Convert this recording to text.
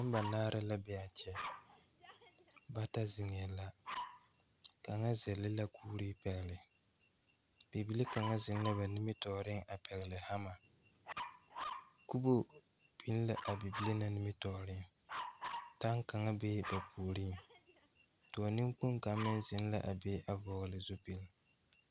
Nobɔ banaare la be aa kyɛ bata zeŋɛɛ la kaŋa zɛle la kuuree pɛgle bibile kaŋa zeŋ la ba nimitooreŋ a pɛgle hamma kubo biŋ la a bibile na nimitooreŋ taŋ kaŋa bee ba puoriŋ dɔɔ neŋkpoŋ kaŋ meŋ zeŋ la a ve a vɔgle zupil.